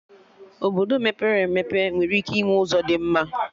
Obodo mepere emepe nwere ike ịnwe ụzọ dị mma